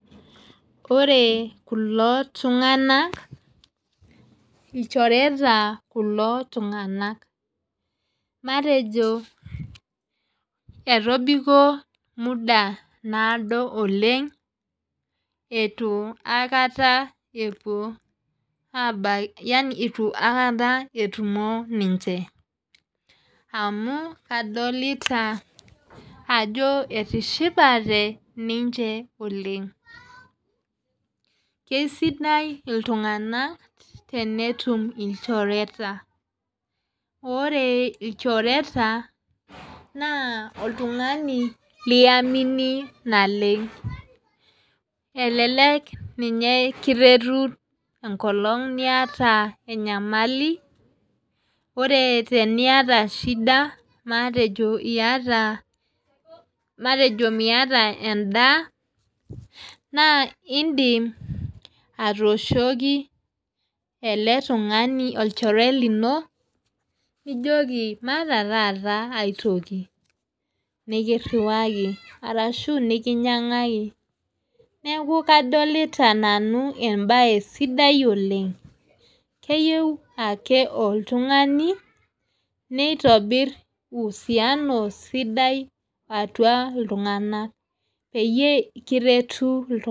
Ore kulo tunganak ilchoreta kulo tunganak. matejo, etobiko muda naado oleng, eitu aikata epuo eitu aikata etumoki ninche. amu kadolita Ajo etishipate ninche oleng. keisidai iltunganak tenetum ilchoreta. ore ilchoreta naa oltungani liamini naleng. elelek ninye kiretu enkolong' niata, enyamali ore tenkata shida matejo teniata matejo Miata edaa. naa idim atooshoki ele tungani matejo olchore lino, nijoki maata taata aitoki, nikiriwaki arashu nikinyiangaki. neeku kadolita nanu ebae sidai Oleng. keyieu ake oltungani neitobir usiano sidai atua iltunganak peyie kiretu iltunganak.